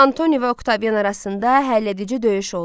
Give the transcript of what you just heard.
Antoni və Oktavian arasında həlledici döyüş oldu.